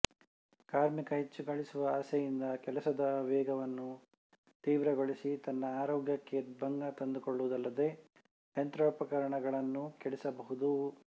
ಕಾರ್ಮಿಕ ಹೆಚ್ಚು ಗಳಿಸುವ ಆಸೆಯಿಂದ ಕೆಲಸದ ವೇಗವನ್ನು ತೀವ್ರಗೊಳಿಸಿ ತನ್ನ ಆರೋಗ್ಯಕ್ಕೆ ಭಂಗ ತಂದುಕೊಳ್ಳುವುದಲ್ಲದೆ ಯಂತ್ರೋಪಕರಣಗಳನ್ನೂ ಕೆಡಿಸಬಹುದು